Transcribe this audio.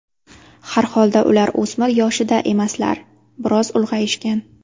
Har holda ular o‘smir yoshida emaslar, biroz ulg‘ayishgan.